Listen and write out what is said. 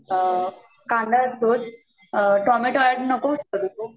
कांदा असतोच, tomato add नको करू